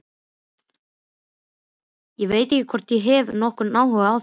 Ég veit ekki hvort ég hef nokkurn áhuga á því.